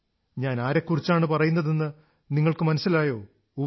ഞാൻ ആരെക്കുറിച്ചാണു പറയുന്നതെന്നു നിങ്ങൾക്കു മനസ്സിലായോ ഉവ്വ്